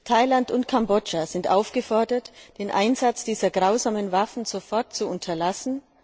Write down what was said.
Thailand und Kambodscha sind aufgefordert, den Einsatz dieser grausamen Waffen sofort zu unterlassen.